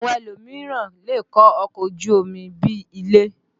Àwọn elòmíràn lè kọ́ ọkọ̀ ojú omi bí i ilé